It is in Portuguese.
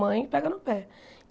Mãe, pega no pé.